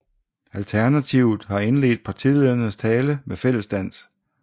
Alternativet har indledt partilederens tale med fællesdans